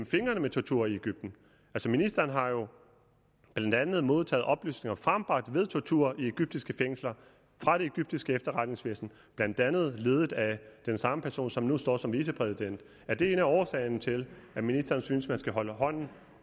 fingrene med tortur i egypten ministeren har jo blandt andet modtaget oplysninger frembragt ved tortur i egyptiske fængsler fra det egyptiske efterretningsvæsen blandt andet ledet af den samme person som nu står som vicepræsident er det en af årsagerne til at ministeren synes at man skal holde hånden